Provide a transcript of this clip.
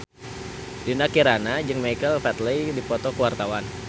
Dinda Kirana jeung Michael Flatley keur dipoto ku wartawan